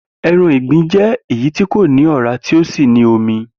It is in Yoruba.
E̩ran ìgbín jé̩ èyí tí kò ní òrá tí ó sì ní omi